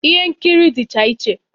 Ihe nkiri dịcha iche